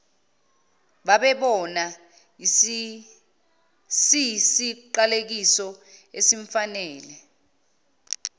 babebona siyisiqalekiso esimfanele